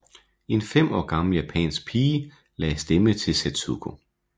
En 5 år gammel japansk pige lagde stemme til Setsuko